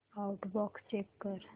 outbox check कर